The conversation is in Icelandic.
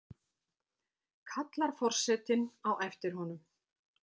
kallar forsetinn á eftir honum.